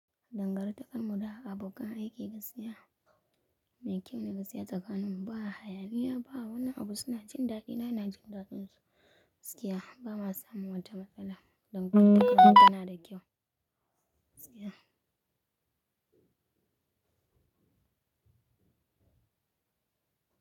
Dangantakar mu da abokan aiki gaskiya mai kyau ne gaskiya tsakanin mu ba hayaniya ba, wani abu suna jin dadina ina jin dadinsu. Gaskiya ba ma samu wata matsala, dangantakar mu tana da kyau. Gaskiya.